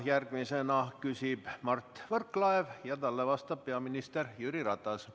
Järgmisena küsib Mart Võrklaev ja talle vastab peaminister Jüri Ratas.